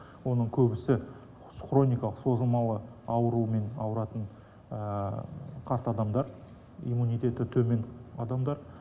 оның көбісі хроникалық созылмалы аурумен ауыратын қарт адамдар иммунитеті төмен адамдар